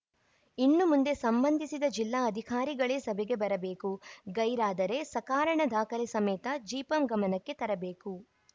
ಇನ್ನು ಮುಂದೆ ಸಂಬಂಧಿಸಿದ ಜಿಲ್ಲಾ ಅಧಿಕಾರಿಗಳೇ ಸಭೆಗೆ ಬರಬೇಕು ಗೈರಾದರೆ ಸಕಾರಣ ದಾಖಲೆ ಸಮೇತ ಜಿಪಂ ಗಮನಕ್ಕೆ ತರಬೇಕು